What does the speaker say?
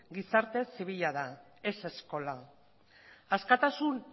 gizarte zibila da ez eskola askatasun